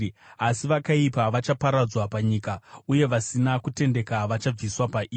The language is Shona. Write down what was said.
asi vakaipa vachaparadzwa panyika, uye vasina kutendeka vachabviswa pairi.